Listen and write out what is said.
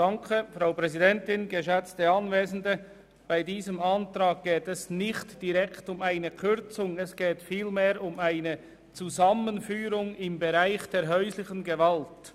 Bei diesem Antrag geht es nicht direkt um eine Kürzung, sondern um eine Zusammenführung im Bereich der Beratungsstellen für häusliche Gewalt.